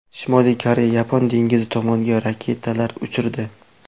Shimoliy Koreya Yapon dengizi tomonga raketalar uchirdi.